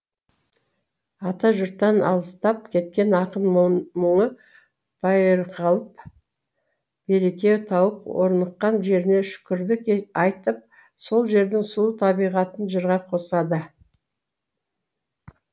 атажұрттан алыстап кеткен ақын мұңы байырқалап береке тауып орныққан жеріне шүкірлік айтып сол жердің сұлу табиғатын жырға қосады